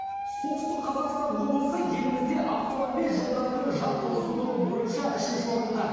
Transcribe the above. солтүстік қазақстан облысы елімізде автомобиль жолдарының жалпы ұзындығы бойынша үшінші орында